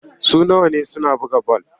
Suna wane suna buga bal.